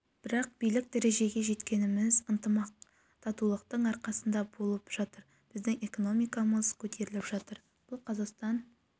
бұл биік дәрежеге жеткеніміз ынтымақ татулықтың арқасында болып жатыр біздің экономикамыз көтеріліп жатыр бұл қазақстан